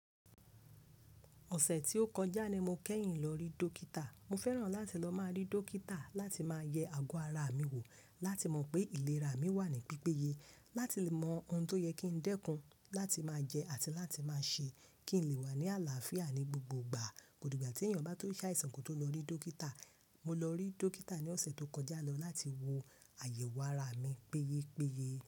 Ọ̀sẹ̀ tí ó kọjá ni mo kẹ́yìn lọ rí dókítà. Mo fẹ́ràn láti lọ máa rí dókítà láti máa yẹ àgọ́ ara mi wò láti mọ pé ìlera mi wà ní pípéye, láti lè mọ ohun tó yẹ kí n dẹ́kun, láti máa jẹ àti láti máa ṣe kí n lè wà ní àlàáfíà ní gbogbo ìgbà. Kò digbà tí ènìyàn bá tó ṣàìsàn kó tó lọ rí dókítà. Mo lọ rí dókítà ní ọ̀sẹ̀ tó kọjá lọ láti wo àyẹ̀wò ara mi péyé péye.